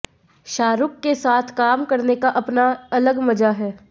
शाहरूख के साथ काम करने का अपना अलग मजा है